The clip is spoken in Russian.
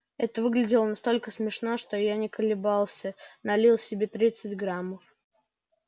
это выглядело настолько смешно что я не колебался налил себе тридцать граммов